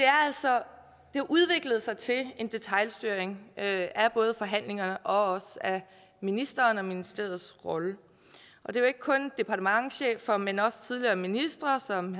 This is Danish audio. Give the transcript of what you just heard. har udviklet sig til detailstyring af forhandlingerne og ministeren og ministeriets rolle det er ikke kun departementschefer men også tidligere ministre som